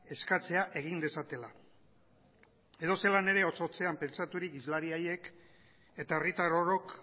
eskatzea egin dezatela edozelan ere hotz hotzean pentsaturik hizlari haiek eta herritar orok